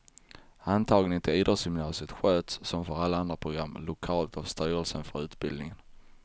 Antagningen till idrottsgymnasierna sköts, som för alla andra program, lokalt av styrelsen för utbildningen.